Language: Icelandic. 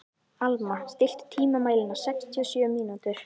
Alma, stilltu tímamælinn á sextíu og sjö mínútur.